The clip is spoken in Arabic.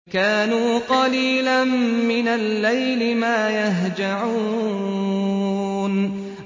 كَانُوا قَلِيلًا مِّنَ اللَّيْلِ مَا يَهْجَعُونَ